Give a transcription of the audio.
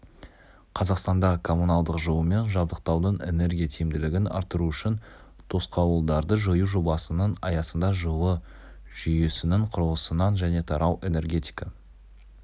қазақстанда коммуналдық жылумен жабдықтаудың энергия тиімділігін арттыру үшін тосқауылдарды жою жобасының аясында жылу жүйесінің құрылысынан және тарау энергетика